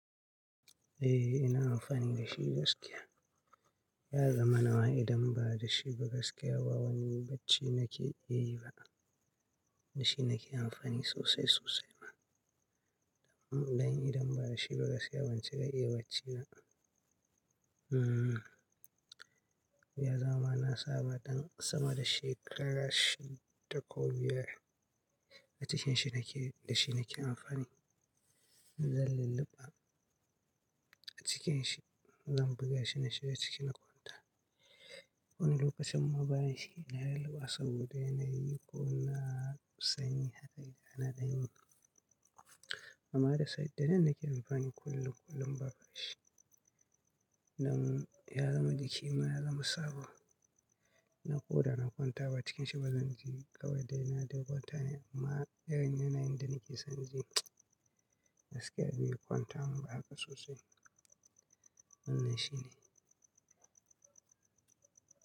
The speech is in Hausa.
Eh, ina amfani da shi gaskiya. Ya zama nawa idan ba da shi ba gaskiya ba wani bacci nake iya yi ba. Da shi nake amfani sosai sosai ma. Dan idan ba da shi ba gaskiya ban cika iya bacci ba. Hmm, ya zama na saba dan sama da shekaru shida ko biyar a cikin shi nake, da shi nake amfani. Zan lulluɓa a cikin shi, zan buga shi na shiga cikin kwanta. Kowane lokacin ma bani shi ina yin lulluɓa saboda yana yi ko na sanyi haka idan na ɗan yi. Amma haddasa idanun nake amfani kullum kullum ba da shi. Dan ya zama jikima ya zama saba. Na koɗa na kwanta ba cikin shi ba zan ji ƙauraye na da kwanta ne amma idan yana inda nake son ji gaskiya bai yi kwanta mun ba haka sosai. Wannan shine.